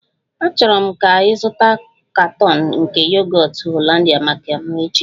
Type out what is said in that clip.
Achọrọ m ka ị zụta katọn nke Yogọt Hollandia maka m echi!